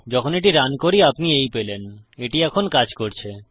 যখন এটি রান করি আপনি এই পেলেন এটি এখন কাজ করছে